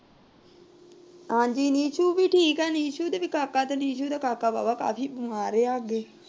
ਹਾਂਜੀ ਨਿਸ਼ੂ ਵੀ ਠੀਕ ਏ। ਨਿਸ਼ੂ ਦੇ ਵੀ ਕਾਕਾ ਨਿਸ਼ੂ ਦਾ ਕਾਕਾ ਕਾਫੀ ਬਿਮਾਰ ਰਿਹਾ ਅੱਗੇ।